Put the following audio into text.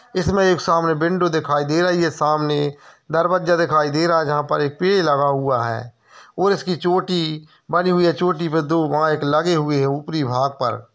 इसमें एक सामने विंडो दिखाई दे रही है सामने दरवाजा दिखाई दे रहा है| जहाँ पर एक पेड़ लगा हुआ है और इसकी चोटी बनी हुई है चोटी पर दो माइक लगे हुए हैं ऊपरी भाग पर--